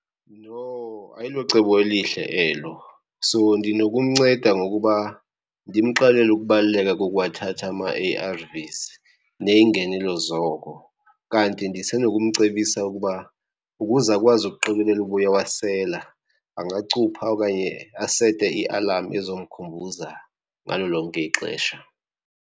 No ayilocebo elihle elo. So ndinokumnceda ngokuba ndimxelele ukubaluleka kokuwathatha ama-A_R_Vs neyingenelo zoko. Kanti ndisenokumcebisa ukuba ukuze akwazi ukuqikelela uba uyawasela angacupha okanye asete ialam ezomkhumbuza ngalo lonke ixesha.